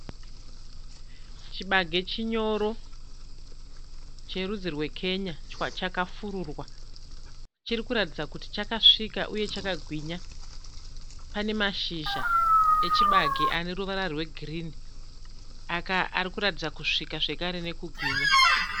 Chibage chinyoro cherudzi rwekenya chakafururwa chiri kuratidza kuti chakasvika uye chakagwinya. Pane mashizha echibage ane ruvara rwegirini ari kuratidza kusvika zvakare nekugwinya.